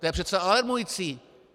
To je přece alarmující.